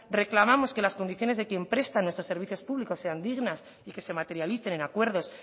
reclamamos que las condiciones de quien presta nuestros servicios públicos sean dignas y que se materialicen en acuerdos